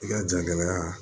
I ka jagɛlɛya